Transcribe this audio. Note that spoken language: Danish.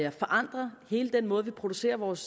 at forandre hele den måde vi producerer vores